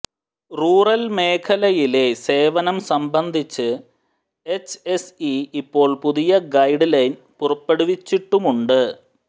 rural മേഖലയിലെ സേവനം സംബന്ധിച്ച് എച്ച്എസ്ഇ ഇപ്പോൾ പുതിയ ഗൈഡ് ലൈൻ പുറപ്പെടുവിച്ചിട്ടുമുണ്ട്